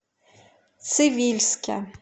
цивильске